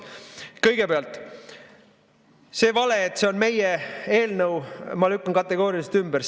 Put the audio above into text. Kõigepealt, selle vale, et see on meie eelnõu, ma lükkan kategooriliselt ümber.